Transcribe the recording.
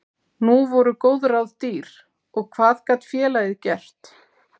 Nú voru góð ráð dýr og hvað gat félagið gert?